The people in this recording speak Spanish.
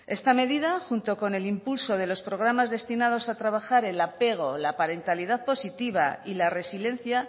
esta medida junto con el impulso de los programas destinados a trabajar el apego la parentalidad positiva y la resiliencia